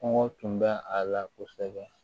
Kɔngɔ tun bɛ a la kosɛbɛ